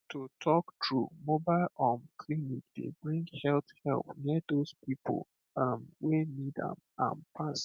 to talk true mobile um clinic dey bring health help near those people erm wey need am am pass